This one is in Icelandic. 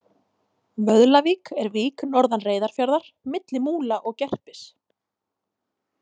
Vöðlavík er vík norðan Reyðarfjarðar, milli Múla og Gerpis.